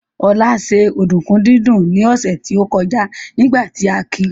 Olá ṣe ọ̀dùnkún dídún ní ọ̀sẹ̀ tó kọjá nígbà tí a ki